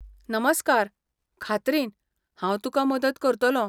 नमस्कार, खात्रीन, हांव तुकां मदत करतलों.